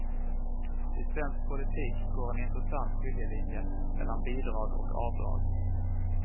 I svensk politik går en intressant skiljelinje mellan bidrag och avdrag.